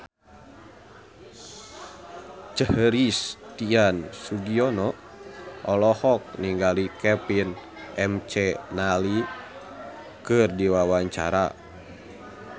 Christian Sugiono olohok ningali Kevin McNally keur diwawancara